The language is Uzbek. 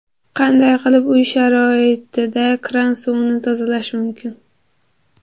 Qanday qilib uy sharoitida kran suvini tozalash mumkin?.